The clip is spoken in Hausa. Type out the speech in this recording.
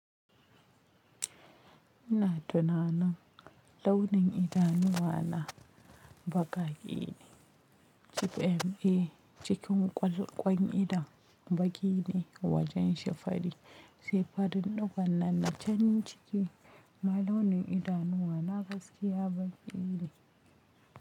Ina tunanin launin idanuwa na baƙi ne. Kifi ne cikin ƙwalƙwan idon, baƙi ne wajen shi fari sai farin digon nan na nacan ciki, amma launin idanuwa na gaskiya baƙi ne.